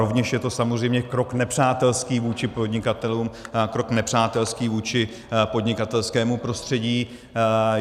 Rovněž je to samozřejmě krok nepřátelský vůči podnikatelům, krok nepřátelský vůči podnikatelskému prostředí.